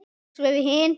Og svo við hin.